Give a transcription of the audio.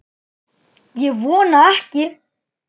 Ég vona ekki